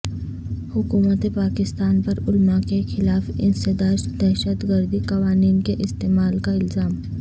حکومت پاکستان پر علماء کے خلاف انسداد دہشت گردی قوانین کے استعمال کا الزام